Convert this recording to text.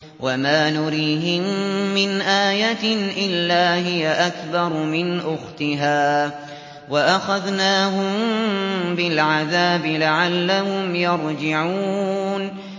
وَمَا نُرِيهِم مِّنْ آيَةٍ إِلَّا هِيَ أَكْبَرُ مِنْ أُخْتِهَا ۖ وَأَخَذْنَاهُم بِالْعَذَابِ لَعَلَّهُمْ يَرْجِعُونَ